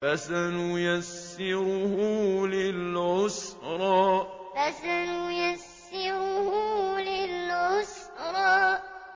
فَسَنُيَسِّرُهُ لِلْعُسْرَىٰ فَسَنُيَسِّرُهُ لِلْعُسْرَىٰ